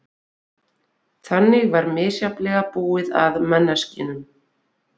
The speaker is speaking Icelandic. Þannig var misjafnlega búið að manneskjunum.